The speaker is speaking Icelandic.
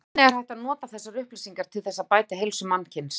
Hvernig er hægt að nota þessar upplýsingar til þess að bæta heilsu mannkyns?